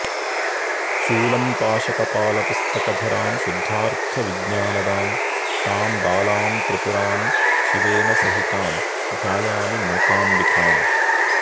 शूलम्पाशकपालपुस्तकधरां शुद्धार्थविज्ञानदां तां बालां त्रिपुरां शिवेनसहितां ध्यायामि मूकाम्बिकाम्